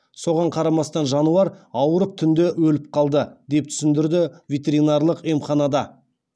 соған қарамастан жануар ауырып түнде өліп қалды деп түсіндірді ветеринарлық емханада